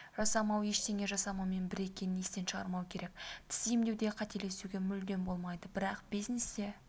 жасамау ештеңе жасамаумен бір екенін естен шығармау керек тіс емдеуде қателесуге мүлдем болмайды бірақ бизнесте